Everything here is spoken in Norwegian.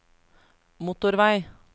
motorvei